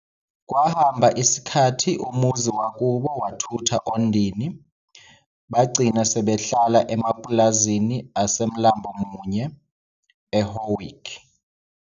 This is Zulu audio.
Kwahamba esikhathi umuzi wakubo wathutha Ondini, bagcina sebehlala emapulazini aseMlambomunye, e"Howick".